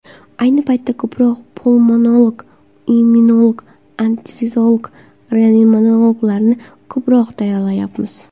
Ayni paytda ko‘proq pulmonolog, immunolog, anesteziolog-reanimatologlarni ko‘proq tayyorlayapmiz.